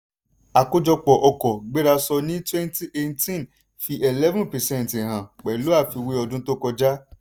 àkójọpọ̀ ọkọ̀ gbérasọ ní twenty eighteen fi eleven percent hàn pẹ̀lú àfiwé ọdún tó kọjá.